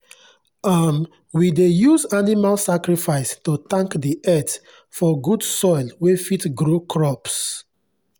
um we dey use animal sacrifice to thank the earth for good soil wey fit grow crops.